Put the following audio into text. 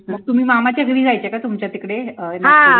मग तुम्ही मामा च्या घरी जायचे का तुमच्या तिकडे नागपूर ला